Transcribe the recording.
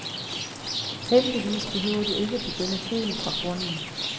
Heldigvis behøver du ikke begynde helt fra grunden.